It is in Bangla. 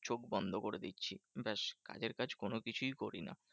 চোখ বন্ধ করে দিচ্ছি ব্যাস। কাজের কাজ কোনোকিছুই করি না।